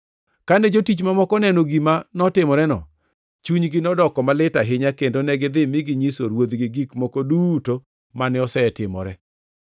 Kane jotich mamoko oneno gima notimoreno, chunygi nodoko malit ahinya kendo negidhi mi ginyiso ruodhgi gik moko duto mane osetimore.